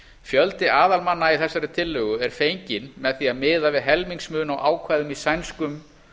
fjöldi aðalmanna í þessari tillögu er fenginn með því að miða við helmingsmun á ákvæðum í sænskum